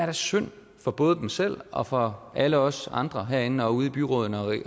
er synd for både dem selv og for alle os andre herinde og ude i byrådene